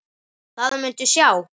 Það muntu sjá.